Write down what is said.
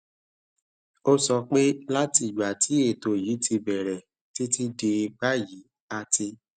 ó sọ pé láti ìgbà tí ètò yìí ti bẹrẹ títí di báyìí a ti